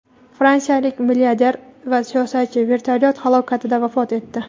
Fransiyalik milliarder va siyosatchi vertolyot halokatida vafot etdi.